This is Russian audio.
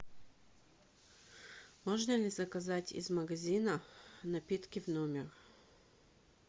можно ли заказать из магазина напитки в номер